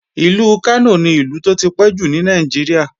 Ìlú Kánò ni Ìlú tó tipẹ́ jù ní Nàìjíríà